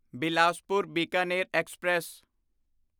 Bilaspur Bikaner express